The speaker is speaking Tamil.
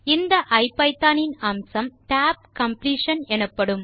இந்த ஐபிதான் இன் அம்சம் tab completion எனப்படும்